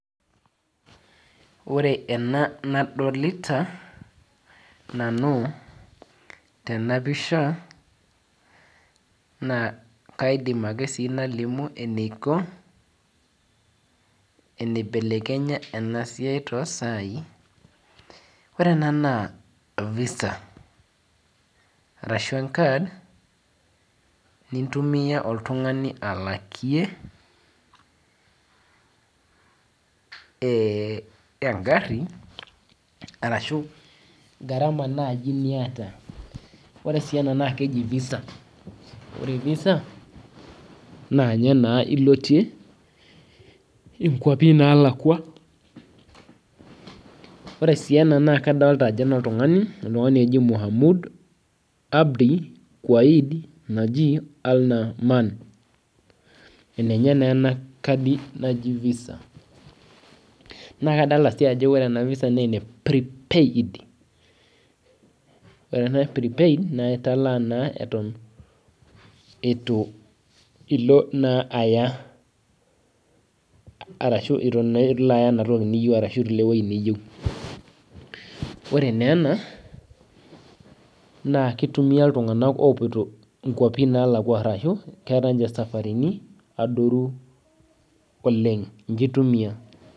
Ore nanu ena nadolita tenapisha naa kaidima akesii nalimu eneiko enaibelekenya ena tosai. Ore ena naa visa arashu encard nintumia oltungani alakie engari arashu garama naji niata. Ore sii ena naa keji visa , ore visa naa ninye naa ilotie inkwapi nalakwa . Ore sii ena naa kadolita ajo enoltungani oji muhamud abdi waid , enenye naa enakadi naji visa , naa kadolta sii ajo ore enavisa naa eneprepaid . Ore naa prepaid naa italaa naa eton itu ilo naa aya ashu eton ilo aya naa enatoki niyeieu . Ore naa ena naa kitumia iltunganak opoito nkwapi nalakwa arashu keeta ninche safaritin adoru oleng , ninche itumia.